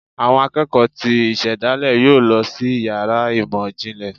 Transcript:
Awọn akeko tí isedale yọọ lọ si ìyára imọ jínlẹ